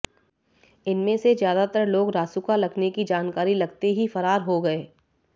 इनमें से ज्यादातर लोग रासुका लगने की जानकारी लगते ही फरार हो गए